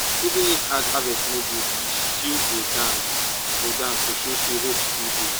even if hard harvest no good we still go dance go dance to show say hope still dey.